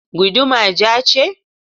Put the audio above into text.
Guduma ja ce?